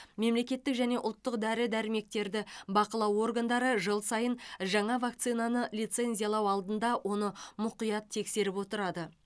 мемлекеттік және ұлттық дәрі дәрмектерді бақылау органдары жыл сайын жаңа вакцинаны лицензиялау алдында оны мұқият тексеріп отырады